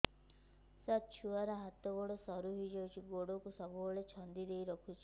ସାର ଛୁଆର ହାତ ଗୋଡ ସରୁ ହେଇ ଯାଉଛି ଗୋଡ କୁ ସବୁବେଳେ ଛନ୍ଦିଦେଇ ରଖୁଛି